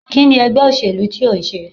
Kini ègbé òṣèlú ti o ń sé?